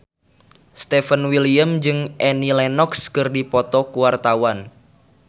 Stefan William jeung Annie Lenox keur dipoto ku wartawan